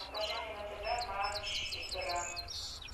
покажи мне на тв матч игра